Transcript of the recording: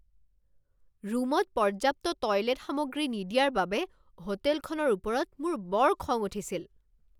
ৰুমত পৰ্যাপ্ত টয়লেট সামগ্ৰী নিদিয়াৰ বাবে হোটেলখনৰ ওপৰত মোৰ বৰ খং উঠিছিল।